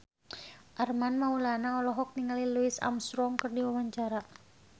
Armand Maulana olohok ningali Louis Armstrong keur diwawancara